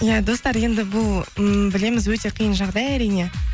иә достар енді бұл ммм білеміз өте қиын жағдай әрине